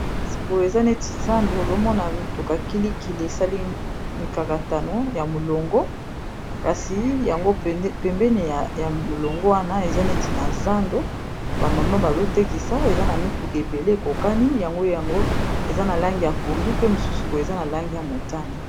kasi boyo eza neti zando ozomona mituka kilikili esali mikakatano ya molongo kasi yango pembene ya molongo wana eza neti na zando bamama bazotekisa eza na mituka ebele ekokani yango yango eza na lange ya pondu pe mosusu boyo eza na lange ya motane